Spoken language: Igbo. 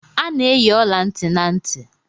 A na-eyi ọla ntị na ntị.